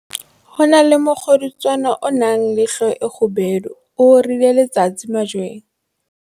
ho na le mokgodutswane o nang le hlooho e kgubedu o orileng letsatsi majweng.